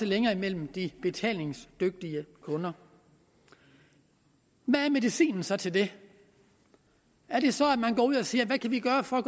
længere mellem de betalingsdygtige kunder hvad er medicinen så til det er det så at man går ud og siger hvad kan vi gøre for at